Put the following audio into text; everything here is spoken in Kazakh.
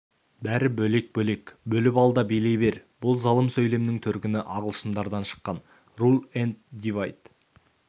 бәрі бөлек-бөлек бөліп ал да билей бер бұл залым сөйлемнің төркіні ағылшындардан шыққан рул энд дивайд